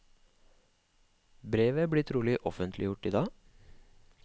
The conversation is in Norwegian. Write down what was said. Brevet blir trolig offentliggjort i dag.